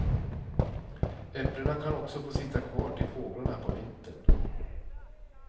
Äpplena kan också få sitta kvar till fåglarna på vintern.